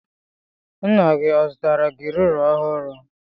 Nna gi ọ zụtara gi rula ọhụrụ?